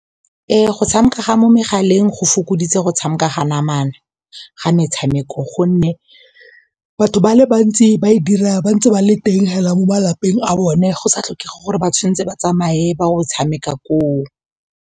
Ee, go tshameka ga mo megaleng go fokoditse go tshameka ga namana ga metshameko gonne batho ba le bantsi ba e dira ba ntse ba le teng hela mo malapeng a bone go sa tlhokege gore ba tshwanetse ba tsamaye ba o tshameka koo.